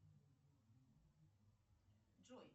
джой